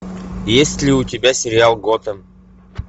есть ли у тебя сериал готэм